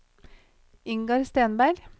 Ingar Stenberg